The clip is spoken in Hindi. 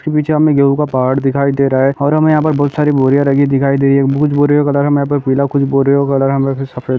फी बीचा में गेहूं का पहाड़ दिखाई दे रहा है और हमें यहां पर बहु सारी बोरियां रगी दिखाई दे रही है। पीला कुछ सफेद --